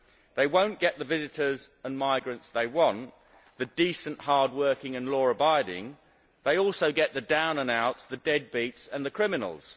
They will not get the visitors and migrants they want the decent, hard working and law abiding they will also get the down and outs, the deadbeats and the criminals.